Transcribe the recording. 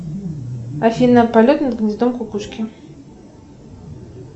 афина полет над гнездом кукушки